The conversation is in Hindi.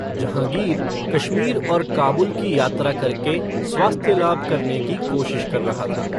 जहांगीर कश्मीर और काबुल की यात्रा करके स्वास्थ्य लाभ करने की कोशिश कर रहा था।